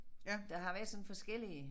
Der har været sådan forskellige